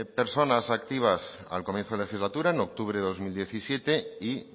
personas activas al comienzo de la legislatura en octubre de dos mil diecisiete y